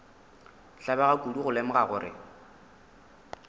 tlabega kudu go lemoga gore